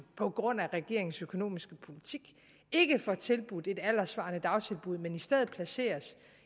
på grund af regeringens økonomiske politik ikke får tilbudt et alderssvarende dagtilbud men i stedet placeres